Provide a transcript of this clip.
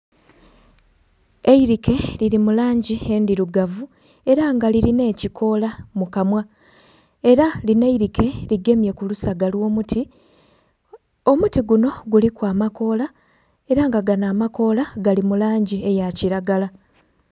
Eirike liri mulangi endhirugavu era nga liri n'ekikoola mukanhwa era lino eirike ligemye kulusaga olwomuti, omuti guno guliku amakoola era nga gano amakoola gali mulangi eya kiragala.